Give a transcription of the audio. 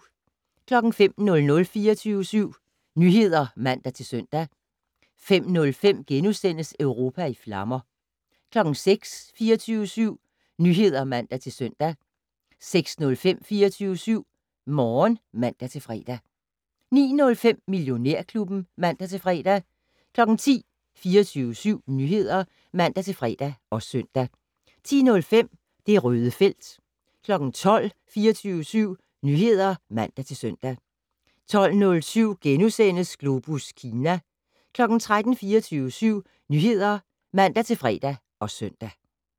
05:00: 24syv Nyheder (man-søn) 05:05: Europa i flammer * 06:00: 24syv Nyheder (man-søn) 06:05: 24syv Morgen (man-fre) 09:05: Millionærklubben (man-fre) 10:00: 24syv Nyheder (man-fre og søn) 10:05: Det Røde felt 12:00: 24syv Nyheder (man-søn) 12:07: Globus Kina * 13:00: 24syv Nyheder (man-fre og søn)